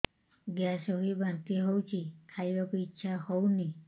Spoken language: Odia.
ଗ୍ୟାସ ହୋଇ ବାନ୍ତି ହଉଛି ଖାଇବାକୁ ଇଚ୍ଛା ହଉନି